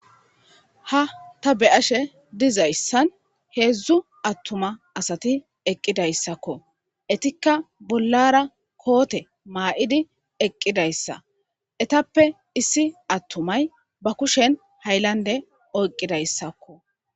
Ha ta be'ashe dizayssan hedzdzu attuma asati eqqidayssako; etikka bollara koote ma'idi eqqidayssa; etappe issi attumay ba kushen haylande oyqidaysako.